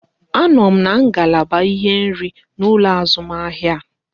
A nọ m n'ngalaba ihe nri n'ụlọ azụmahịa